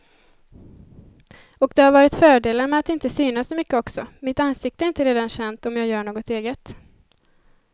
Och det har varit fördelar med att inte synas så mycket också, mitt ansikte är inte redan känt om jag gör något eget.